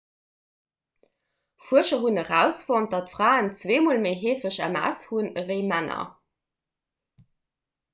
fuerscher hunn erausfonnt datt fraen zwee mol méi heefeg ms hunn ewéi männer